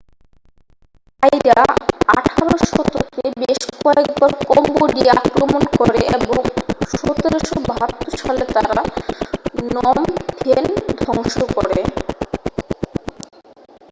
থাইরা 18 শতকে বেশ কয়েকবার কম্বোডিয়া আক্রমণ করে এবং 1772 সালে তারা নম ফেন ধ্বংস করে